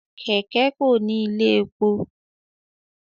Kẹkẹ Ko ní ilé èpò